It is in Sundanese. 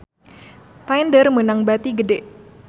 Tinder meunang bati gede